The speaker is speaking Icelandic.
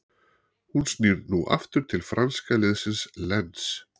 Hann snýr nú aftur til franska liðsins Lens.